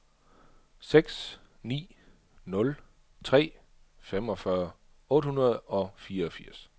seks ni nul tre femogfyrre otte hundrede og fireogfirs